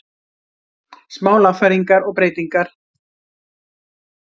Smá lagfæringar og breytingar.